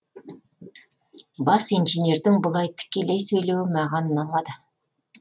бас инженердің бұлай тікелей сөйлеуі маған ұнамады